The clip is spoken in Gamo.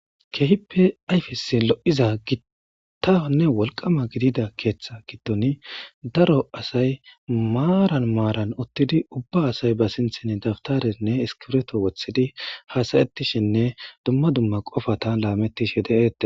Keehippe ayfesi lo7iza gittahonne wolqama gidida keeththa gidtoni daro asay maaran maaran ottidi ubba asay ba sinthin dabtarenne iskireto wothidi haasayettishinne dumma dumma qofatan laamettishe de7ete.